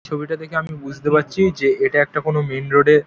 ছবিটা দেখে আমি বুঝতে পারছি যে এটা একটা কোনো মেন রোড -এর--